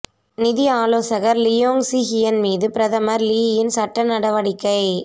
நிதி ஆலோசகர் Leong Sze Hian மீது பிரதமர் லீயின் சட்ட நடவடிக்கை